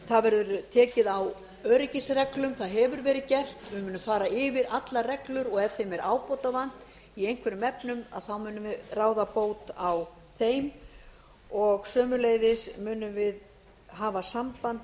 það verður tekið á öryggisreglu það hefur verið gert við munum fara yfir allar reglur og ef þeim er ábótavant í einhverjum efnum munum við ráða bót á þeim sömuleiðis munum við hafa samband